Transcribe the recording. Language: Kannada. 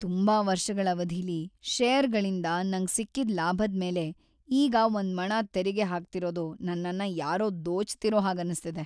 ತುಂಬಾ ವರ್ಷಗಳ್‌ ಅವಧಿಲಿ ಷೇರ್‌ಗಳಿಂದ ನಂಗ್‌ ಸಿಕ್ಕಿದ್ ಲಾಭದ್ಮೇಲೆ ಈಗ ಒಂದ್ಮಣ ತೆರಿಗೆ ಹಾಕ್ತಿರೋದು ನನ್ನನ್ನ ಯಾರೋ ದೋಚ್ತಿರೋ ಹಾಗನ್ನಿಸ್ತಿದೆ.